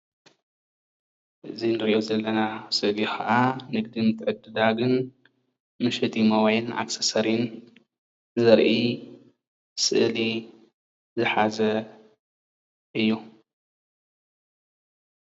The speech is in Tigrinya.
እዚ ንርእዮ ዘለና ስእሊ ኻዓ ንግድን ምትዕድዳግን መሸጢ ሞባይልን ኣክሰሰርን ዘርኢ ስእሊ ዝሓዘ እዩ።